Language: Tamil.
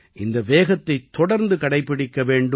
இந்த வேகத்தைத் தொடர்ந்து கடைப்பிடிக்க வேண்டும்